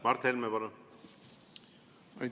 Mart Helme, palun!